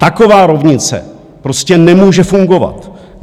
Taková rovnice prostě nemůže fungovat.